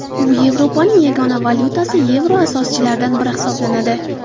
U Yevropaning yagona valyutasi yevro asoschilaridan biri hisoblanadi.